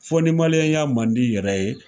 Fo ni maliyɛnya man d'i yɛrɛ ye.